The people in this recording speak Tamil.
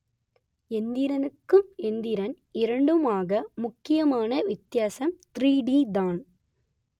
எந்திரனுக்கும் எந்திரன் இரண்டுக்குமாக முக்கியமா வித்தியாசம் த்ரீ டி தான்